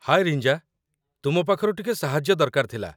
ହାଏ ରିଞ୍ଜା, ତୁମ ପାଖରୁ ଟିକେ ସାହାଯ୍ୟ ଦରକାର ଥିଲା